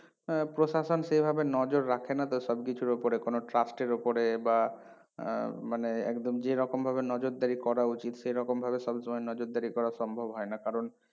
উম প্রশাসন সেভাবে নজর রাখে না তো সব কিছুর ওপরে কোনো trust এর ওপরে বা উম মানে একদম যেরকম ভাবে নজরদারি করা উচিত সেরকম ভাবে সবসময় নজরদারি করা সম্ভব হয়না কারণ